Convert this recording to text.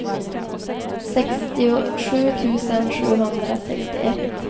sextiosju tusen sjuhundrasextioett